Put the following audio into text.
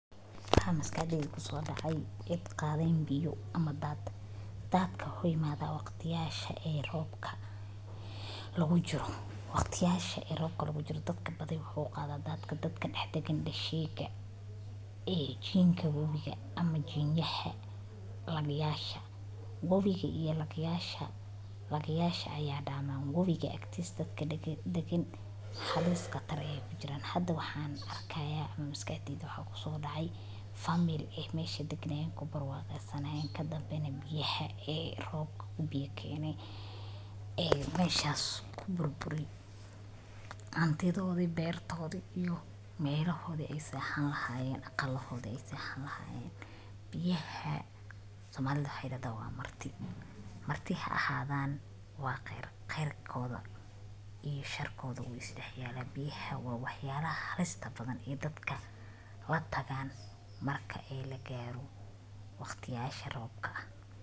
Haa, Maskaxdheydha kuso dhacay id qaadayn biyo ama da'dda. Da'dka hooy maada waqtiyayaasha ee roobka lagu jiro. Waqtiyayaasha ee roobka lagu jiro dadka badi wuxuu qadha da'dka dadkan dhexe deggan dhashiiyayaasha iyo jiinku wobiga ama jiinyaha laga yasha. wobiga iyo lagayasha lagayasha ayaa dhammaan wobiga agteyst dadka degen. Deggan halis qatar jira. Hadda waxaan arkaya ama miska etiida waxaa ku soo dhacay famil-ee meesha degdegen kubar waqo e sannad dhabban. Biyaha ee roob u biyo keenee ee meeshaas ku burburi. Cuntooda iyo beertooodu iyo meeloohu aysan han lahaayeen aqu lahooda aysan han lahaayen. Biyaha Soomaaliya dadawaan Marti. Marti axaadaan waa qayr qayrkooda iyo sharkooda ugu dhex yaala. Biyaha waa wax yaalla halista badan ee dadka la taggaan marka ay la gaaro waqtiyaasha roobka ah.